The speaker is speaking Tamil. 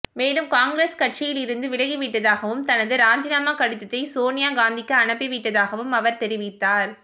மேலும் காங்கிரஸ் கட்சியில் இருந்து விலகி விட்டதாகவும் தனது ராஜினாமா கடிதத்தை சோனியா காந்திக்கு அனுப்பி விட்டதாகவும் அவர் தெரிவித்தார்